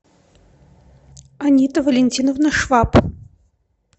анита валентиновна швап